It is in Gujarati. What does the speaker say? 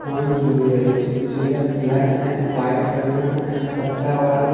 ફોન જોઇ રહી છે જેને બ્લેક એન્ડ વ્હાઇટ કલર ના પટ્ટા વાળુ--